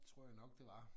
Tror jeg nok det var